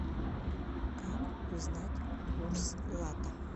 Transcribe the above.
как узнать курс лата